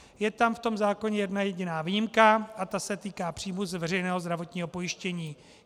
Je tam v tom zákoně jedna jediná výjimka a ta se týká příjmu z veřejného zdravotního pojištění.